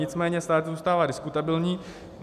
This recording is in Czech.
Nicméně stále to zůstává diskutabilní.